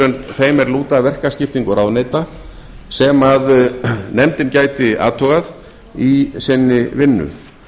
en þeim er lúta að verkaskiptingu ráðuneyta sem nefndin gæti athugað í sinni vinnu